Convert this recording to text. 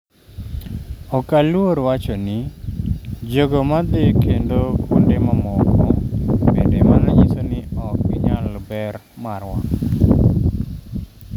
"Ok aluor wacho ni... jogo madhi kendo kuonde mamoko, bende mano nyiso ni ok ginyal ber marwa?"""